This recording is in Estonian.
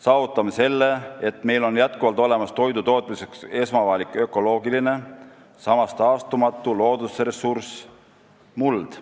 Saavutame selle, et meil on jätkuvalt olemas toidu tootmiseks esmavajalik ökoloogiline, samas taastumatu loodusressurss – muld.